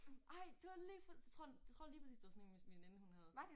Ej det var lige præcis tror tror det var lige præcis det var sådan én min min veninde hun havde